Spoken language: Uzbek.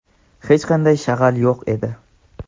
hech qanday shag‘al yo‘q edi.